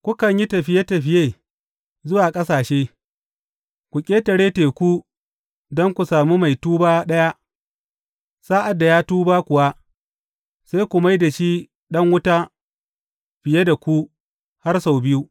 Kukan yi tafiye tafiye zuwa ƙasashe, ku ƙetare teku don ku sami mai tuba ɗaya, sa’ad da ya tuba kuwa, sai ku mai da shi ɗan wuta fiye da ku, har sau biyu.